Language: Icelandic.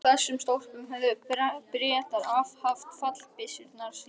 Á þessum stólpum höfðu Bretar haft fallbyssurnar í stríðinu.